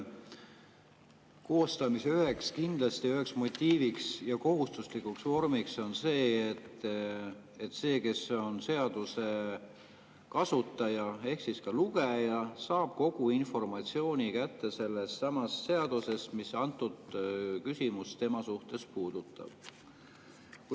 Kindlasti on seaduse koostamise üheks motiiviks ja kohustuslikuks vormiks see, et seaduse kasutaja ehk siis ka lugeja saab kogu informatsiooni kätte sellestsamast seadusest, mis antud küsimust tema suhtes puudutab.